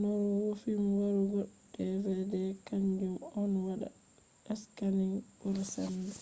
lornugo fim warugo dvd kanjum on wada scanning bura sembe